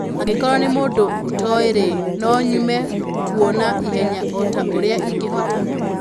Angĩkorũo nĩ mũndũ ũtoĩ-rĩ, no nyume kuo na ihenya o ta ũrĩa ingĩhota".'